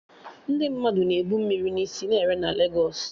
Ndị mmadụ na-ebu mmiri na isi ere na Legos